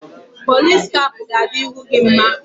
Pọlis kap ga-adị ihu gị mma